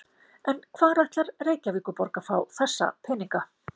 En hvar ætlar Reykjavíkurborg að fá þessa peninga?